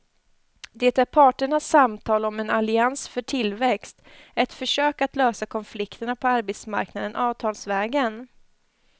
Det är parternas samtal om en allians för tillväxt, ett försök att lösa konflikterna på arbetsmarknaden avtalsvägen.